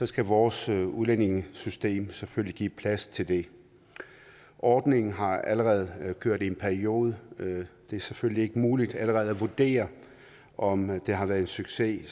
skal vores udlændingesystem selvfølgelig give plads til det ordningen har allerede kørt i en periode det er selvfølgelig ikke muligt allerede at vurdere om det har været en succes i